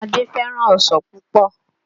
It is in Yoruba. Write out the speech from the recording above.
Adé fẹ́ràn ọsàn púpọ̀